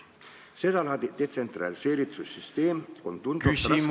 Seda laadi detsentraliseeritud süsteemi on tunduvalt raskem ...